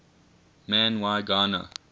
man y gana